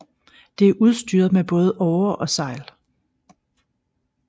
Det er udstyret med både årer og sejl